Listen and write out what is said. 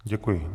Děkuji.